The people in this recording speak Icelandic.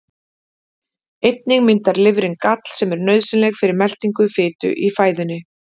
Einnig myndar lifrin gall sem er nauðsynlegt fyrir meltingu fitu í fæðunni.